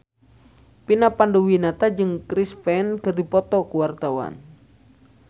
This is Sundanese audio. Vina Panduwinata jeung Chris Pane keur dipoto ku wartawan